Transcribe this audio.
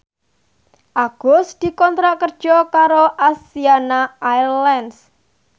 Agus dikontrak kerja karo Asiana Airlines